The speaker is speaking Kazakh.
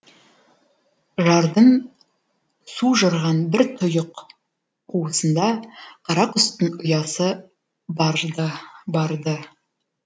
жардың су жырған бір тұйық қуысында қарақұстың ұясы бар ды